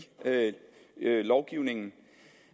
lovgivningen